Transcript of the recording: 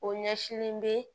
O ɲɛsilen bɛ